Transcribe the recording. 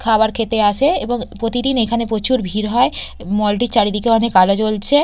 খাবার খেতে আসে এবং প্রতিদিন এখানে প্রচুর ভিড় হয় মল -টির চারিদিকে অনেক আলো জ্বলছে।